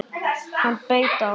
Hann beit á!